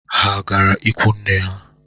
Ha agara ikwunne ha?